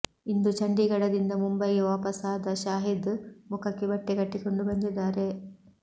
ಇಂದು ಚಂಡೀಗಡದಿಂದ ಮುಂಬೈಗೆ ವಾಪಸ್ ಆದ ಶಾಹಿದ್ ಮುಖಕ್ಕೆ ಬಟ್ಟೆ ಕಟ್ಟಿಕೊಂಡು ಬಂದಿದ್ದಾರೆ